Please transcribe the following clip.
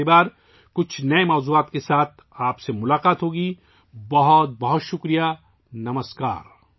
اگلی مرتبہ کچھ نئے موضوعات کے ساتھ آپ سے ملاقات ہو گی ، بہت بہت شکریہ ، نمسکار